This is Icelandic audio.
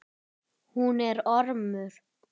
Hún er ormur.